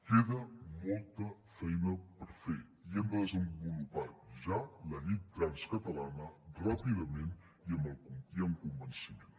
queda molta feina per fer i hem de desenvolupar ja la llei trans catalana ràpidament i amb convenciment